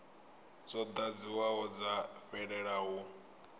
dzo ḓadziwaho dza fhelela hu